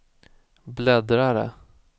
bläddrare